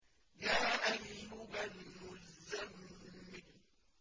يَا أَيُّهَا الْمُزَّمِّلُ